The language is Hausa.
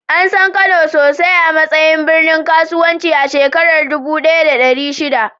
An san Kano sosai a matsayin birnin kasuwanci a shekarar dubu ɗaya da ɗari shida.